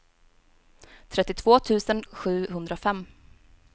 trettiotvå tusen sjuhundrafem